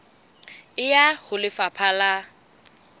e ya ho lefapha la